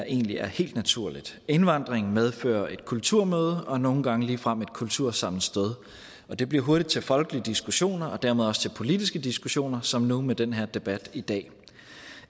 egentlig er helt naturligt indvandring medfører et kulturmøde og nogle gange ligefrem et kultursammenstød og det bliver hurtigt til folkelige diskussioner og dermed også til politiske diskussioner som nu med den her debat i dag